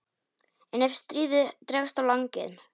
En ef stríðið dregst á langinn?